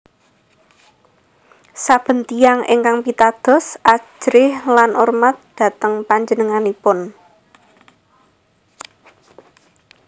Saben tiyang ingkang pitados ajrih lan urmat dhateng panjenenganipun